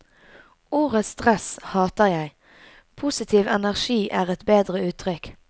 Ordet stress hater jeg, positiv energi er et bedre uttrykk.